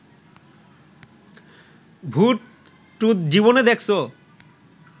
ভূত-টুথ জীবনে দেখছ